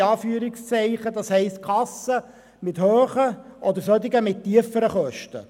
Das heisst, es gibt einerseits Kassen mit höheren und solche mit tieferen Kosten.